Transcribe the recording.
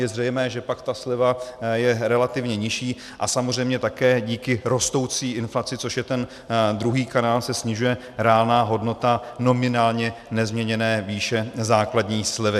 Je zřejmé, že pak ta sleva je relativně nižší a samozřejmě také díky rostoucí inflaci, což je ten druhý kanál, se snižuje reálná hodnota nominálně nezměněné výše základní slevy.